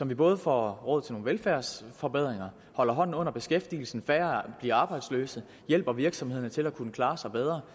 vi både får råd til nogle velfærdsforbedringer holder hånden under beskæftigelsen så færre bliver arbejdsløse og hjælper virksomheder til at kunne klare sig bedre